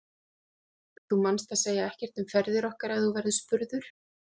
Þú manst að segja ekkert um ferðir okkar ef þú verður spurður.